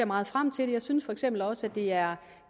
meget frem til det jeg synes for eksempel også at det er